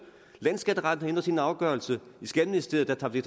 landsskatteretten ændrer sin afgørelse og i skatteministeriet tager vi